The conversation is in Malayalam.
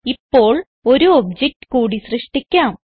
ഇപ്പോൾ ഒരു ഒബ്ജക്ട് കൂടി സൃഷ്ടിക്കാം